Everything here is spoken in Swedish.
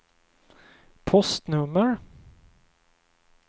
postnummer